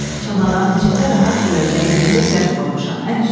Çamadanın içində rahat görəcəyin yerdə zərf qoymuşam, ən üstdədir.